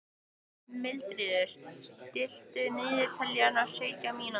Mildríður, stilltu niðurteljara á sjötíu mínútur.